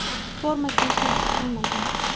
Forma kiyish nasib qilmagan.